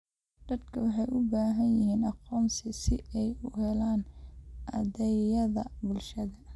Dadku waxay u baahan yihiin aqoonsi si ay u helaan adeegyada bulshada.